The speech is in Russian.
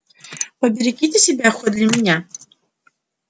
поберегите себя хоть для меня